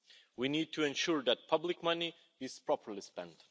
We need to ensure that public money is properly spent.